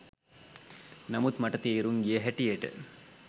නමුත් මට තේරුම් ගිය හැටියට